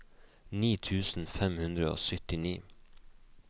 ni tusen fem hundre og syttini